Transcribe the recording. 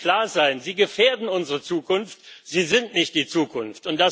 Das muss klar sein sie gefährden unsere Zukunft, sie sind nicht die Zukunft.